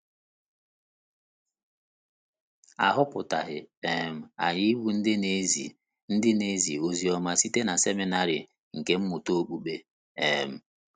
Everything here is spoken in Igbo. A họpụtaghị um anyị ịbụ ndị na-ezi ndị na-ezi oziọma site na seminarị nkà mmụta okpukpe um.